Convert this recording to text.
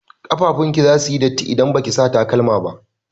Ƙafafun ki zasu yi datti idan baki sa takalma ba.